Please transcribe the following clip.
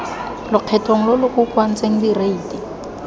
lokgethong lo lo kokoantsweng direiti